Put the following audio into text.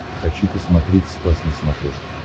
хочу посмотреть спас на смотрешке